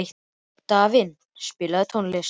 Dalvin, spilaðu tónlist.